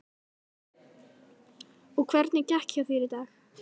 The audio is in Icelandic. Og hvernig gekk hjá þér í dag?